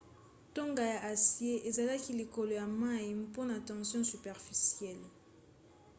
tonga ya acier ezalaki likolo ya mai mpona tension superficielle